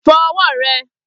Fo̩ o̩wó̩ re̩!